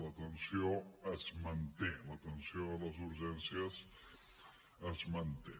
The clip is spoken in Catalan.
la tensió es manté la tensió a les urgències es manté